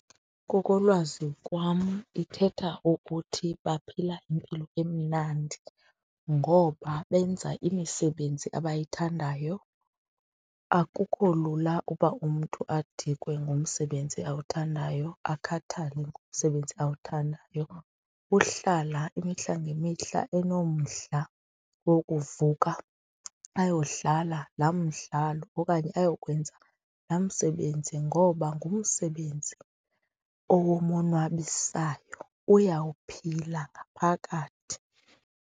Ngokolwazi kwam ithetha ukuthi baphila impilo emnandi ngoba benza imisebenzi abayithandayo, akukho lula uba umntu adikwe ngumsebenzi awuthandayo, akhathale ngumsebenzi awuthandayo. Ukuhlala imihla ngemihla enomdla wokuvuka ayodlala laa mdlalo okanye ayokwenza laa msebenzi ngoba ngumsebenzi owomonwabisayo, uyawuphila ngaphakathi.